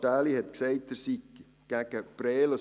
Stähli hat gesagt, er sei gegen Prêles;